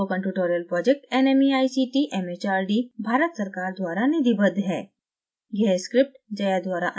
spoken tutorial project nmeict mhrd Bharat सरकार द्वारा निधिबद्ध है